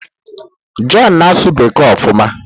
John na-asụ Bekee ofuma